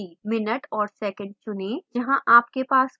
minute और second चुनें जहां आपके पास प्रश्न है